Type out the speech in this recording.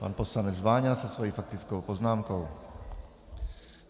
Pan poslanec Váňa se svou faktickou poznámkou.